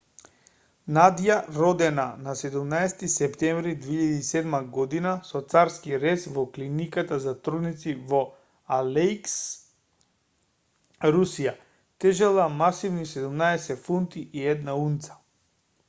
надја родена на 17-ти септември 2007 година со царски рез во клиниката за трудници во алејск русија тежела масивни 17 фунти и 1 унца